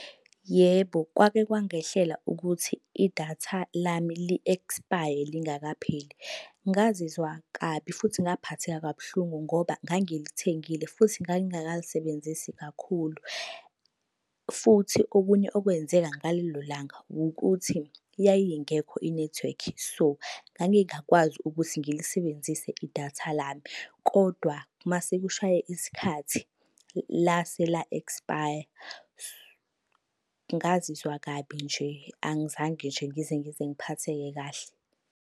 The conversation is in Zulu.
Yebo, kwake kwangehlela ukuthi idatha lami li-ekspaye lingakapheli. Ngazizwa kabi futhi ngaphatheka kabuhlungu ngoba ngangilithengile futhi ngangingakalisebenzisi kakhulu. Futhi okunye okwenzeka ngalelo langa wukuthi yayingekho inethiwekhi. So, ngangingakwazi ukuthi ngilisebenzise idatha lami, kodwa uma sekushaye isikhathi lase la ekspaya. Ngazizwa kabi nje angizange nje ngize ngize ngiphatheke kahle.